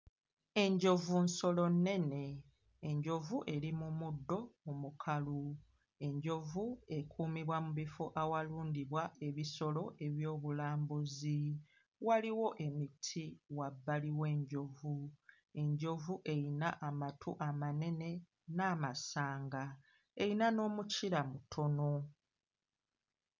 Enjovu nsolo nnene, enjovu eri mu muddo omukalu, enjovu ekuumibwa mu bifo awalundibwa ebisolo eby'obulambuzi, waliwo emiti wabbali w'enjovu, enjovu eyina amatu amanene n'amasanga; eyina n'omukira mutono.